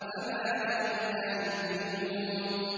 فَمَا لَهُمْ لَا يُؤْمِنُونَ